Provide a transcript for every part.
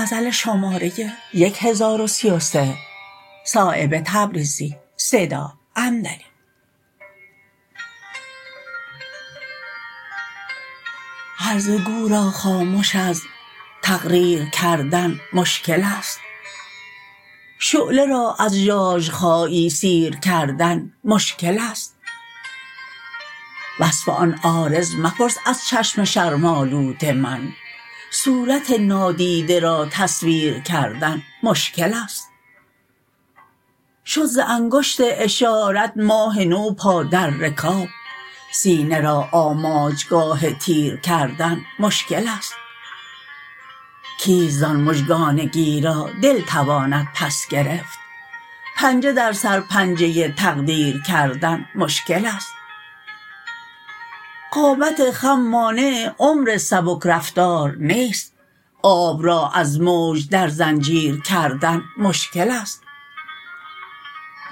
هرزه گو را خامش از تقریر کردن مشکل است شعله را از ژاژخایی سیر کردن مشکل است وصف آن عارض مپرس از چشم شرم آلود من صورت نادیده را تصویر کردن مشکل است شد ز انگشت اشارت ماه نو پا در رکاب سینه را آماجگاه تیر کردن مشکل است کیست زان مژگان گیرا دل تواند پس گرفت پنجه در سر پنجه تقدیر کردن مشکل است قامت خم مانع عمر سبکرفتار نیست آب را از موج در زنجیر کردن مشکل است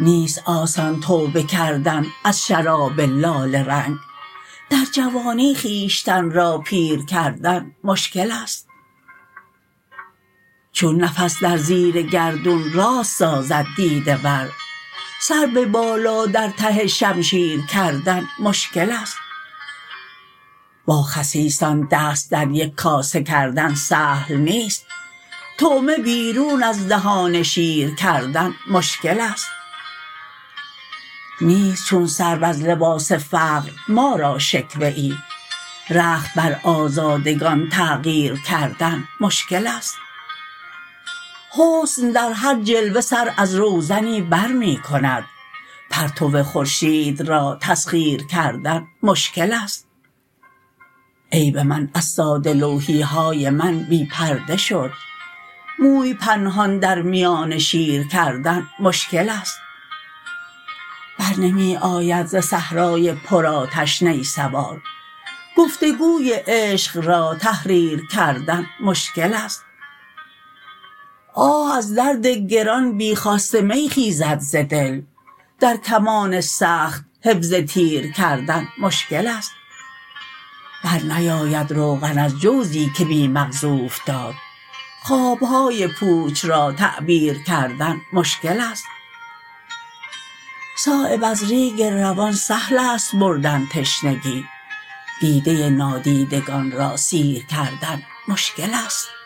نیست آسان توبه کردن از شراب لاله رنگ در جوانی خویشتن را پیر کردن مشکل است چون نفس در زیر گردون راست سازد دیده ور سر به بالا در ته شمشیر کردن مشکل است با خسیسان دست در یک کاسه کردن سهل نیست طعمه بیرون از دهان شیر کردن مشکل است نیست چون سرو از لباس فقر ما را شکوه ای رخت بر آزادگان تغییر کردن مشکل است حسن در هر جلوه سر از روزنی برمی کند پرتو خورشید را تسخیر کردن مشکل است عیب من از ساده لوحی های من بی پرده شد موی پنهان در میان شیر کردن مشکل است بر نمی آید ز صحرای پر آتش نی سوار گفتگوی عشق را تحریر کردن مشکل است آه از درد گران بی خواست می خیزد ز دل در کمان سخت حفظ تیر کردن مشکل است برنیاید روغن از جوزی که بی مغز اوفتاد خواب های پوچ را تعبیر کردن مشکل است صایب از ریگ روان سهل است بردن تشنگی دیده نادیدگان را سیر کردن مشکل است